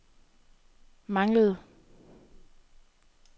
manglede